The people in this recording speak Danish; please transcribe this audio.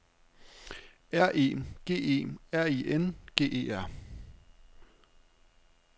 R E G E R I N G E R